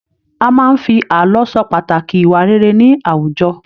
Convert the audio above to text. A máa n fí ààlọ́ sọ pàtàkì ìwà rere ní àwùjọ.